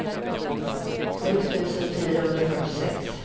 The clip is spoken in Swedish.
sju tusen fyrahundrafyrtiosex